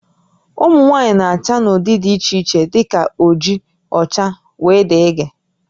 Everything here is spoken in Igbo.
Ụmụ nwaanyị na-acha n'ụdị dị iche iche dị ka oji, ọcha wdg